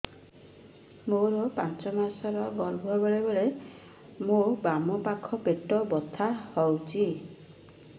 ମୋର ପାଞ୍ଚ ମାସ ର ଗର୍ଭ ବେଳେ ବେଳେ ମୋ ବାମ ପାଖ ପେଟ ବଥା ହଉଛି